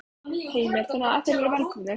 Heimir: Þannig að þeir eru velkomnir?